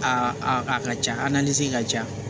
A a a ka ca ka ca